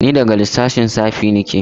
Ni daga sashen lissafi nake.